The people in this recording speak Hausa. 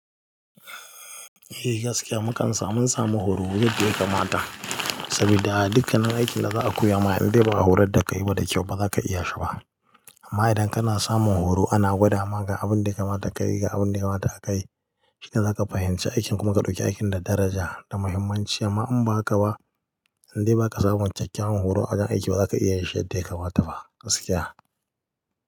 Eh gaskiya mukan samu samu horo wajen da yake mata saboda dukkanin aikin da za a koya ma indai ba horor da kai ba da kyau ba za ka iya shi ba amma idan kana samun horo ana gwadawa ga abin da yake mata ka yi ga abin da yake mata aka yi shinae za ka fahimci aikin kuma ka ɗauki aikin da daraja da muhimmanci amma in ba haka ba indai ba ka samun cikakken horo a cikin aiki ba za ka iya yin shi yadda ya kamata ba gaskiya.